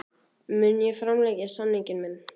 Mun ég framlengja samning minn?